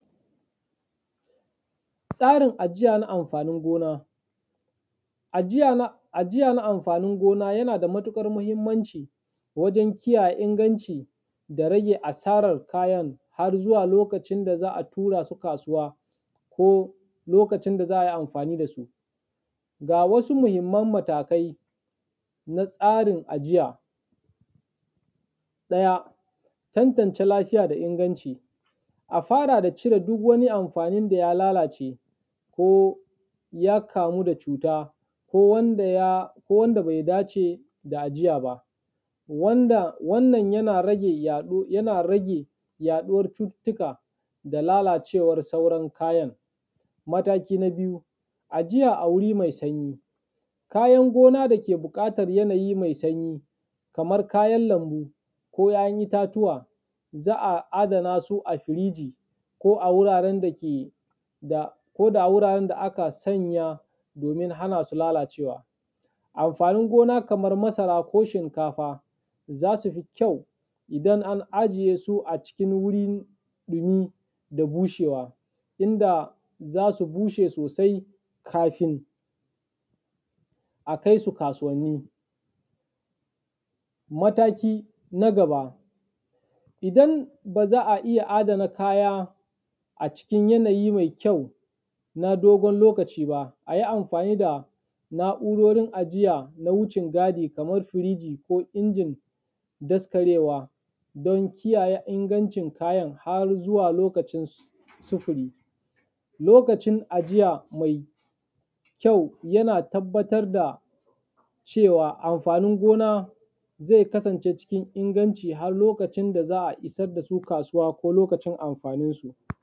Tsarin ajiya na amfanin gona. Ajiya na amfanin gona yana da matuƙar muhimmanci wajen kiyaye inganci da rage asarar kayan har zuwa lokacin da za a tura su kasuwa ko lokacin da za a yi amfani da su. Ga wasu mahimman matakai na tsarin ajiya; Ɗaya, tantance lafiya da inganci; a fara da cire duk wani amfani da ya lalace ko ya kamu da cuta ko wanda ya ko wanda bai dace da ajiya ba, wanda wannan yana rage yaɗu yana rage yaɗuwar cututtuka da lalacewar sauran kayan. Mataki na biyu, ajiya a wuri mai sanyi; kayan gona da ke buƙatar yanayi mai sanyi kamar kayan lambu ko ‘ya’yan itatuwa, za a adana su a firiji, ko a wuraren dake da, ko da a wuraren da aka sanya domin hana su lalacewa. Amfanin gona kamar masara ko shinkafa za su fi kyau idan an ajiye su acikin wurin dumi da bushewa inda za su bushe sosai kafin a kai su kasuwanni. Mataki na gaba, idan ba za a iya adana kaya acikin yanayi mai kyau na dogon lokaci ba, a yi amfani da na’urorin ajiya na wucin gadi kamar firiji ko injin daskarewa don kiyaye ingancin kayan har zuwa lokacin sufuri. Lokacin ajiya mai kyau yana tabbatar da cewa amfanin gona zai kasance cikin inganci har lokacin da za a isar da su kasuwa ko lokacin amfaninsu.